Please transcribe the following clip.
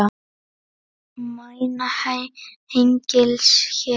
Mæna hengils hér.